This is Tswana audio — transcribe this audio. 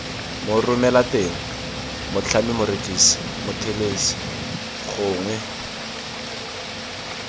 moromelateng motlhami morekisi mothelesi gongwe